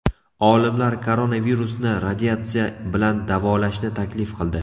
Olimlar koronavirusni radiatsiya bilan davolashni taklif qildi.